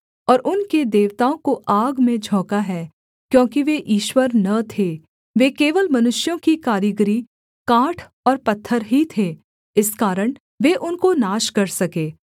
और उनके देवताओं को आग में झोंका है क्योंकि वे ईश्वर न थे वे केवल मनुष्यों की कारीगरी काठ और पत्थर ही थे इस कारण वे उनको नाश कर सके